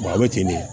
a bɛ ten ne